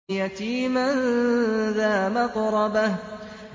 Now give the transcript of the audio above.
يَتِيمًا ذَا مَقْرَبَةٍ